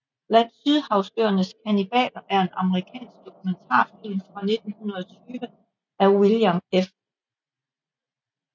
Blandt sydhavsøernes kannibaler er en amerikansk dokumentarfilm fra 1920 af William F